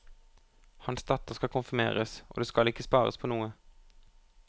Hans datter skal konfirmeres, og det skal ikke spares på noe.